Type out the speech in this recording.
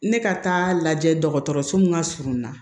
Ne ka taa lajɛ dɔgɔtɔrɔso min ka surun i la